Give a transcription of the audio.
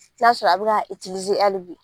I b'a sɔrɔ a bɛ k'a hali bi